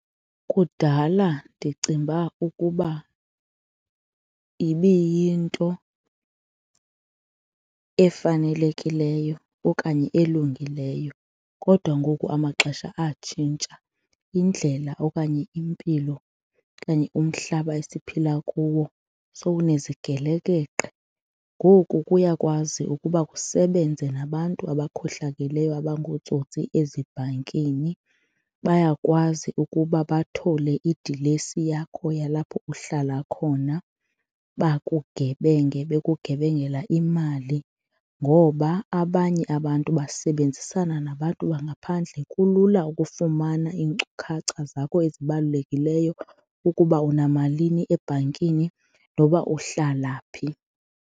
Kudala ndicinga uba ukuba ibiyinto efanelekileyo okanye elungileyo kodwa ngoku amaxesha atshintsha, indlela okanye impilo okanye umhlaba esiphila kuwo sewunezigelekeqe. Ngoku kuyakwazi ukuba kusebenze nabantu abakhohlakeleyo abangootsotsi ezibhankini, bayakwazi ukuba bathole idilesi yakho yalapho uhlala khona bakugebenge, bekugebengela imali ngoba abanye abantu basebenzisana nabantu bangaphandle kulula ukufumana iinkcukacha zakho ezibalulekileyo ukuba unamalini ebhankini noba uhlala phi.